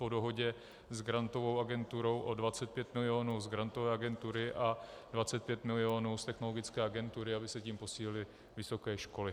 Po dohodě s Grantovou agenturou o 25 milionů z Grantové agentury a 25 milionů z Technologické agentury, aby se tím posílily vysoké školy.